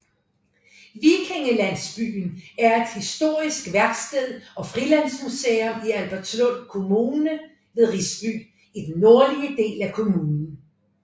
Vikingelandsbyen er et historisk værksted og frilandsmuseum i Albertslund Kommune ved Risby i den nordlige del af kommunen